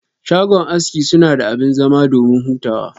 Shago aski sunada abin zama domin hutawa.